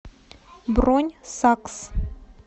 бронь сакс